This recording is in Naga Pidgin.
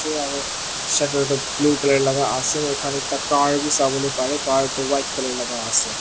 aru shater toh blue colour laga ase moi khan ekta car vi savo lae parae car toh white colour laga ase.